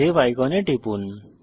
save আইকনে টিপুন